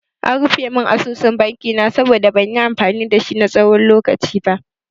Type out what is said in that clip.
An rufe mun asusun banki na saboda ban yi amfani dashi na tsawon lokaci ba.